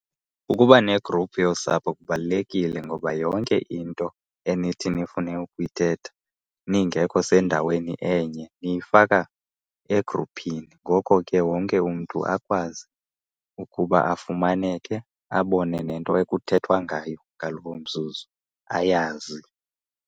Ukuba ne-group yosapho kubalulekile ngoba yonke into enithi nifune ukuyithetha ningekho sendaweni enye niyifaka egruphini. Ngoko ke wonke umntu akwazi ukuba afumaneke abone nento ekuthethwa ngayo ngaloo mzuzu ayazi.